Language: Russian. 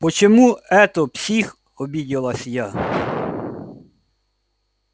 почему это псих обиделась я